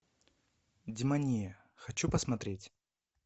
демония хочу посмотреть